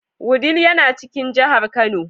Wudil yana cikin jihar Kano.